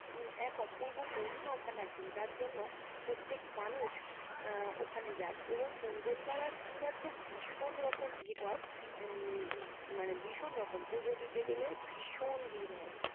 উম এক অপূর্ব মহিমা ওখানে আছেন যার জন্য প্রত্যেক মানুষ আহ ওখানে যায় এবং মঙ্গলবার আর শনিবার তো ভীষণ রকম ভিড় হয় উম মানে ভীষণ রকম পূজো দিতে গেলে ভীষণ ভিড় হয়।